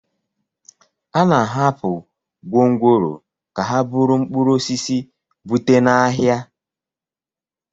A na-ahapụ gwongworo ka ha buru mkpụrụ osisi bute n'ahịa